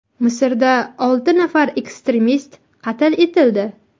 Misrda olti nafar ekstremist qatl etildi.